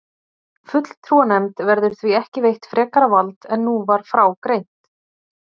Fulltrúanefnd verður því ekki veitt frekara vald en nú var frá greint.